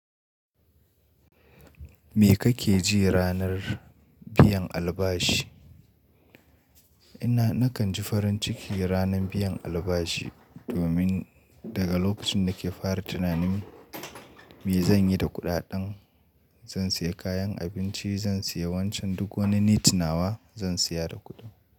Me kake ji ranar biyan albashi? Ina nakan ji farin ciki ranar biyan albashi domin daga lokacin da ke fara tunanin me zan yi da kuɗaɗan, zan saya kayan abinci, zan saya wancan duk wani needs nawa zan siya da kuɗin.